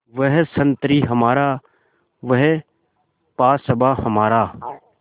वह संतरी हमारा वह पासबाँ हमारा